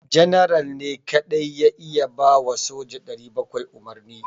General ne kadai ya iya ba wa soja 700 umarni.